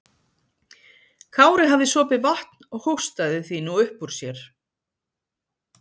Kári hafði sopið vatn og hóstaði því nú upp úr sér.